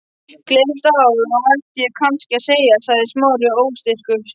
Gleðilegt ár, ætti ég kannski að segja- sagði Smári óstyrkur.